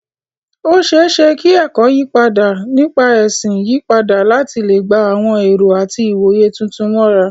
Ó ṣeé ṣe kí ẹ̀kọ́ nípa ẹ̀sìn yí padà láti lè gba àwọn ẹ̀rọ àti ìwòye tuntun mọ́ra.